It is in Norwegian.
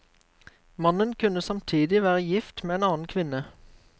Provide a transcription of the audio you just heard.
Mannen kunne samtidig være gift med en annen kvinne.